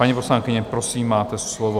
Paní poslankyně, prosím, máte slovo.